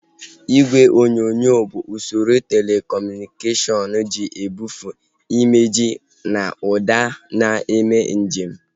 Igwe onyonyo bụ usoro telekọmunikashọnu ji ebufee imejị na ụda na-eme nje m